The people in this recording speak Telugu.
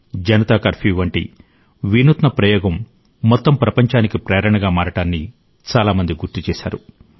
జనతా కర్ఫ్యూ వంటి వినూత్న ప్రయోగం మొత్తం ప్రపంచానికి ప్రేరణగా మారడాన్ని చాలామంది గుర్తు చేశారు